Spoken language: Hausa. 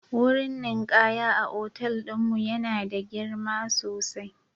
Wurin ninkaya a otal ɗin mu yana da girma sosai